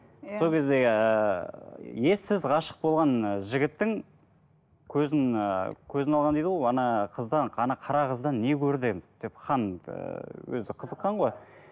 сол кездегі ііі ессіз ғашық болған і жігіттің көзін ыыы көзін алған дейді ғой қыздан қара қыздан не көрді енді деп хан ыыы өзі қызықққан ғой